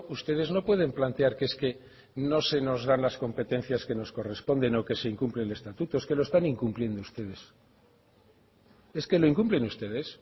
ustedes no pueden plantear que es que no se nos dan las competencias que nos corresponden o que se incumple el estatuto es que lo están incumpliendo ustedes es que lo incumplen ustedes